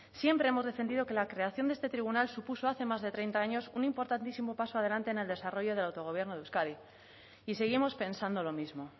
siempre hemos defendido que la creación de este tribunal supuso hace más de treinta años un importantísimo paso adelante en el desarrollo del autogobierno de euskadi y seguimos pensando lo mismo